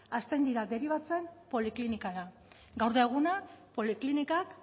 hasten dira deribatzen poliklinikara gaur da eguna poliklinikak